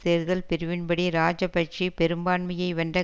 தேர்தல் பிரிவின் படி இராஜபக்ஷ பெரும்பான்மையை வென்ற